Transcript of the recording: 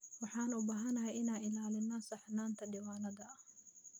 Waxaan u baahanahay inaan ilaalino saxnaanta diiwaanada.